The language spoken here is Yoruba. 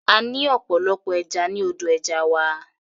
A ní ọ̀pọ̀lọpọ̀ ẹja ní odò ẹja wa.